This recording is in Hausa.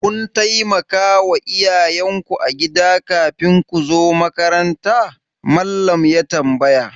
Kun taimakawa iyayen ku agida kafin ku zo makaranta? Mallam ya tambaya.